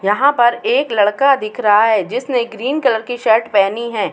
यहाँ पर एक लड़का दिख रहा है जिसने ग्रीन कलर की शर्ट पहनी है।